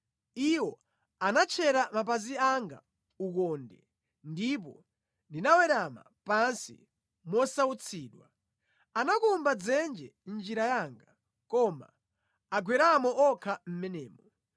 Iwo anatchera mapazi anga ukonde ndipo ndinawerama pansi mosautsidwa. Anakumba dzenje mʼnjira yanga koma agweramo okha mʼmenemo.